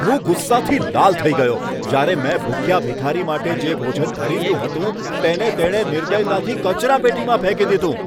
હું ગુસ્સાથી લાલ થઈ ગયો, જ્યારે મેં ભૂખ્યા ભિખારી માટે જે ભોજન ખરીદ્યું હતું, તેને તેણે નિર્દયતાથી કચરાપેટીમાં ફેંકી દીધું.